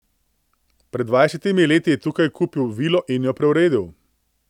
Pred dvajsetimi leti je tukaj kupil vilo in jo preuredil.